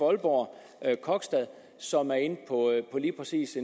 aalborg kogstad som er inde på lige præcis